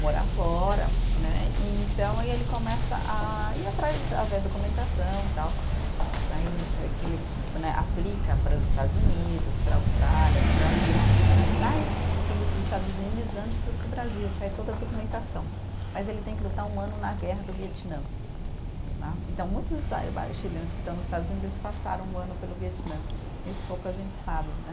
morar fora, né, e então aí ele começa a ir atrás, a ver a documentação e tal, aí ele que ele né, aplica para os Estados Unidos, para a Austrália, para o Brasil, sair para os Estados Unidos antes de para o Brasil, sair toda a documentação, mas ele tem que lutar um ano na guerra do Vietnã né, então muitos chilenos que estão nos Estados Unidos eles passaram um ano pelo Vietnã, isso pouca gente sabe, né,